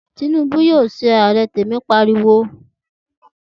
Tinubu yóò ṣe Ààrẹ! Temi pariwo.